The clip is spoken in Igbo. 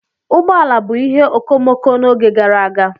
Ụgbọ ala bụ ihe okomoko n'oge gara aga.